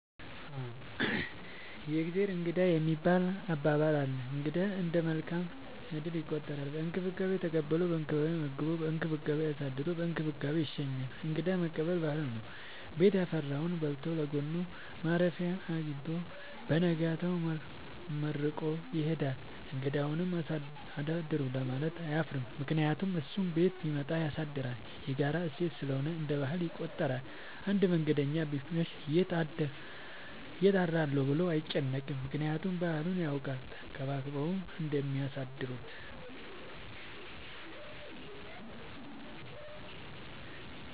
የእግዜር እንግዳ የሚባል አባባል አለ። እንግዳ እንደ መልካም እድል ይቆጠራል። በእንክብካቤ ተቀብሎ በእንክብካቤ መግቦ በእንክብካቤ አሳድሮ በእንክብካቤ ይሸኛል። እንግዳ መቀበል ባህል ነው። ቤት ያፈራውን በልቶ ለጎኑ ማረፊያ አጊኝቶ በነጋታው መርቆ ይሄዳል። እንግዳውም አሳድሩኝ ለማለት አያፍርም ምክንያቱም እሱም ቤት ቢመጡ ያሳድራል። የጋራ እሴት ስለሆነ እንደ ባህል ይቆጠራል። አንድ መንገደኛ ቢመሽ ይት አድራለሁ ብሎ አይጨነቅም። ምክንያቱም ባህሉን ያውቃል ተንከባክበው እንደሚያሳድሩት።